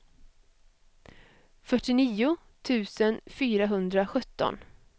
fyrtionio tusen fyrahundrasjutton